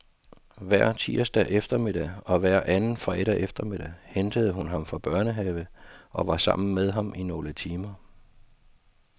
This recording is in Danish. Hver tirsdag eftermiddag og hver anden fredag eftermiddag hentede hun ham fra børnehave og var sammen med ham i nogle timer.